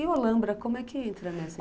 E o Alambra, como é que entra nessa?